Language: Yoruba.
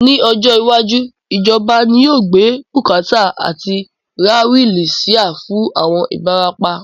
Ní ọjọ́ iwájú, ìjọba ni yóò gbé bùkátà àti ra wílí síà fún àwọn Ibarapa